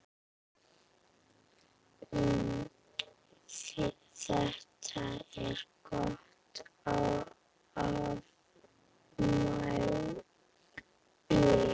Þetta var gott afmæli.